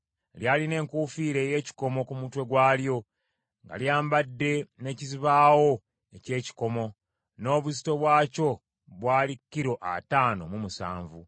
Lyalina enkuufiira ey’ekikomo ku mutwe gwalyo, nga lyambadde n’ekizibaawo eky’ekikomo, n’obuzito bwakyo bwali kilo ataano mu musanvu.